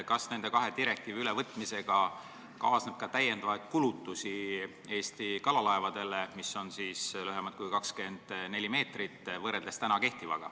Kas nende kahe direktiivi ülevõtmisega kaasneb ka lisakulutusi Eesti kalalaevadele, mis on lühemad kui 24 meetrit, võrreldes kehtivaga?